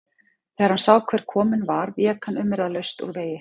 Þegar hann sá hver kominn var vék hann umyrðalaust úr vegi.